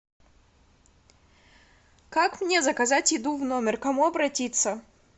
как мне заказать еду в номер к кому обратиться